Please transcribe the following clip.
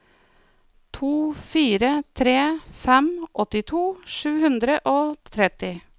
to fire tre fem åttito sju hundre og tretti